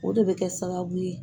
O de bɛ kɛ sababu ye.